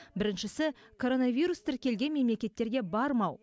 біріншісі коронавирус тіркелген мемлекеттерге бармау